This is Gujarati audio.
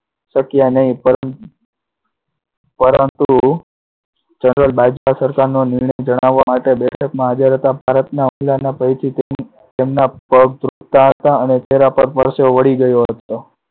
શક્યા નહી પણ, પરંતુ ભારત સરકારનો નિર્ણય જણાવવા માટે બેઠકમાં હાજર હતા, ભારતના તેમના પગ ધ્રુજતા હતા અને ચેહરા પર પરસેવો વળી ગયો હતો.